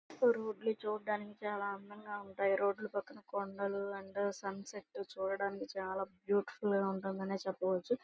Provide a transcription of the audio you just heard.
ఇక్కడ రోడ్లు చూడ్డానికి చాలా అందంగా ఉంటాయి. రోడ్ పక్కన కొండలు అండ్ సన్సెట్ చూడ్డానికి చాలా బ్యూటిఫుల్ గ ఉందనే చెప్పవచ్చు.